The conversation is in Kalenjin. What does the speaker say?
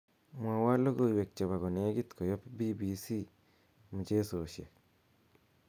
mwowon logoiwek chebo konegit koyop b.b.c mchesosiek